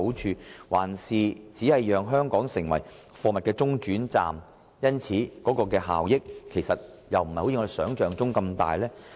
抑或只會令香港成為貨物中轉站，而所帶來的經濟效益卻並非如想象般的大呢？